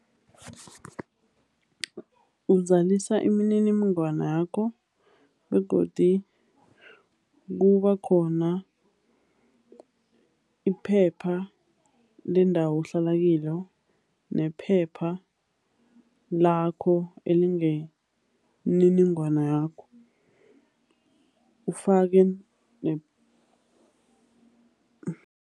Uzalisa imininingwana yakho, begodu kuba khona iphepha lendawo ohlala kilo, nephepha lakho elinemininingwana yakho, ufake